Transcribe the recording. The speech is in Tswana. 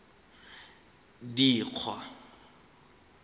dikgwa